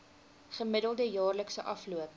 gemiddelde jaarlikse afloop